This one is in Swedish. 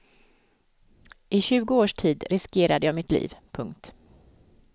I tjugo års tid riskerade jag mitt liv. punkt